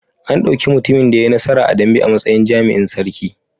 An ɗauki mutumin da ya yi nasara a dambe a matsayin jami'in sarki.